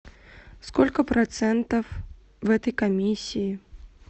сколько процентов в этой комиссии